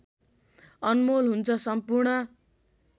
अनमोल हुन्छ सम्पूर्ण